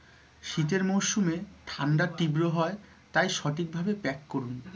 শীতের মৌসুমে ঠান্ডা তীব্র হয় তাই সঠিক ভাবে pack করুন,